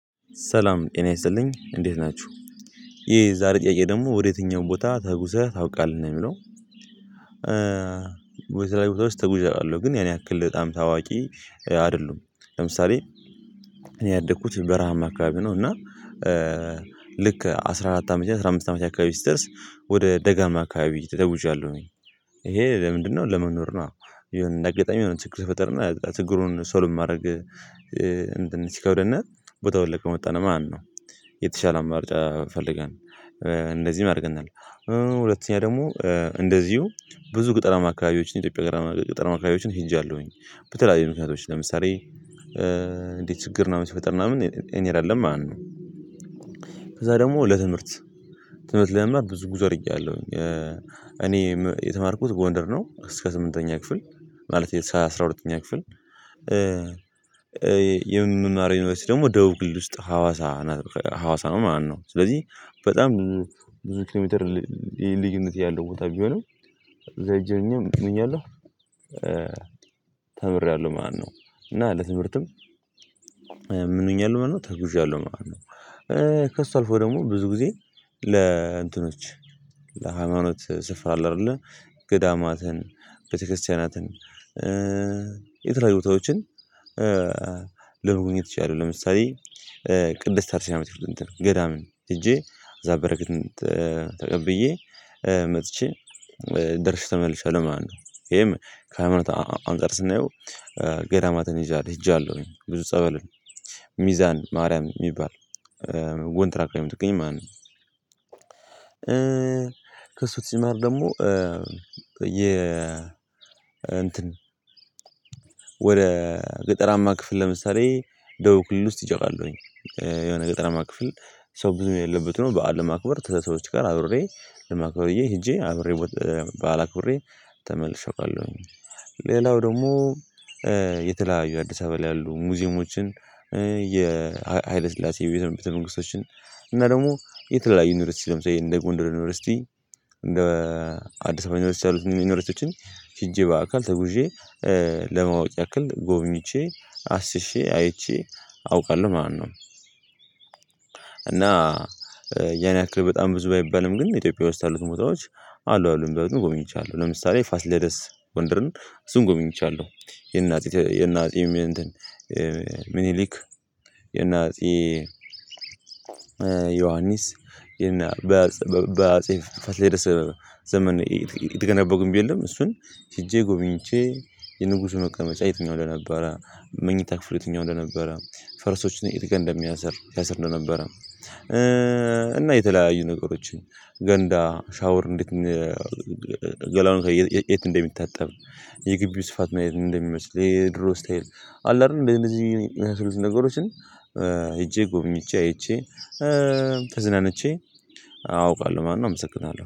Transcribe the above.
ሰላም ጤና ይስጥልኝ እንዴት ናችሁ ይሄ ዛሬ ጥያቄ ደግሞ ወደ የትኛውም ቦታ ተጉዘህ ታውቃለህ ነው? የሚለው በተለያዩ ቦታ ውስጥ ተጉዠ አውቃለሁ። ግን ያን ያክል በጣም ታዋቂ አይደሉም። ለምሳሌ እኔ ያደኩት በረሃማ አካባቢ ነው። እና ልክ አስራ አራት አመት አስራ አምስት አመት አካባቢ ስትደርስ ወደ ደጋማ አካባቢ ተጉዣለሁኝ። ይሄ ለምንድነው ለመኖር ነው የሆነ አጋጣሚ ይሁን ችግር ፈጠርና ችግሩን ሶልቭ ማድረግ። እንትን ሲከብድና ቦታውን ለቀን ወጣን ማነው የተሻለ አማርጫ ፈልገን እንደዚህም አድርገናል። ሁለተኛ ደግሞ እንደዚሁ ብዙ ግጠራማ አካባቢዎች ላይ ኢትዮጵያ ጋር ገጠራማ አካባቢዎች ሄጃለሁኝ። በተለይዩ ምክንያቶች ለምሳሌ ችግር ምናምን ሲፈጠር ምናምን እኔ እንሄዳለን ማለት ነው። ከዛ ደግሞ ለትምህርት ትምህርት ለመማር ብዙ ጉዞ አድርጌያለሁኝ እኔ የተማርኩት ጎንደር ነው እስከ ስምንተኛ ክፍል። ማለቴ እሰ አስራ ሁለተኛ ክፍል። የምንማረው ዩንቨርስቲ ደግሞ ደቡብ ክልል ውስጥ ሐዋሳ ሀዋሳ ነው ማለነው። ስለዚህ በጣም ብዙ ኪሎሜትር ል ልዩነት ያለው ቦታ ቢሆንም እዛ ሄጄ ምኛለሁ። ተምሬያለሁ ማለት ነው። እና ለትምህርትም ምን ሆኛለው ማለት ነው ተጉዣለሁ ማለት ነው። ከእሱ አልፎ ደግሞ ብዙ ጊዜ ለእንትኖች ለሃይማኖት ስፍራ አለ አይደለ ገዳማትን ቤተክርስቲያናትን ቦታዎችን ለመጎብኘት ችያለህ? ለምሳሌ ቅድስት አርሴማ ቤተክስያን እንትን ገዳም ሄጄ እዛ በረከት ተቀብዬ መጥቼ ደርሼ ተመልሼ አለው ማለት ነው። ይሄም ከሃይማኖት አንፃር ስናየው ገዳማትን ይዣል ሄጃለሁ ብዙ ጸበል ሚዛን ማርያም የሚባል ወንትራክ አየምትገኝ ማለት ነው። ከሱ ትሽማር ደግሞ የ እንትን ወደ ገጠራማ ክፍል ለምሳሌ ደቡብ ክልል ውስጥ ሄጀ አቃለሁኝ። የሆነ ገጠራማ ክፍል ሰው ብዙ የሌለበት ነው በዓል ለማክበር ተሰብሰቦች ጋር አብሬ ለማክበርዬ ሄጄ አብሬ በዓል አክብሬ ተመልሼ አውቃለሁኝ። ሌላው ደግሞ የተለያዩ አዲስ አበባ ላይ ያሉ ሙዚየሞችን የሃይለ ስላሴ ቤተ ቤተ መንግስቶችን እና ደግሞ የተለያዩ ዩኒቨርሲቲ ለምሳሌ እንደ ጎንደር ዩኒቨርሲቲ እንደ አዲስ አበባ ዩኒቨርሲቲ ያሉት ዩኒቨርሲቲዎችን ሽጄ በአካል ተጉዤ ለማወቅ ያክል ጎብኝቼ አስሼ አይቼ አውቃለሁ ማለነው። እና ያን ያክል በጣም ብዙ ባይባልም ግን ኢትዮጵያ ውስጥ ያሉት ቦተዎች አሉ አሉ የሚባሉትን ጎበኝቻለው ለምሳሌ ፋስለደስ ጎንደርን እሱን ጎበኝቻለው። የእናፄ ም እንትን የእናፄ ምኒሊክ የእናፄ ዮሐንስ የእነ በፅ በአፄ ፋሲለደስ ዘመን ዘመን የተገነባው ግንብ የለም። እሱን ሄጄ ጎብኝቼ የንጉሱን መቀመጫ የትኛው እንደነበረ መኝታ ክፍሉ የትኛው እንደነበረ ፈረሶችን የትጋ እንደሚያስር ያስር እንደነበረ። እና የተለያዩ ነገሮችን ገንዳ ሻወር እንዴት ገላውን የት እንደሚታጠብ? የግቢው ስፋት ምናይነት እንደሚመስል የድሮ ስታይል አለ አይደል እንደዚህ የመሳሰሉት ነገሮችን ሄጄ ጎበኝቼ አይቼ ተዝናንቼ አውቃለሁ ማለት ነው። አመሰግናለሁ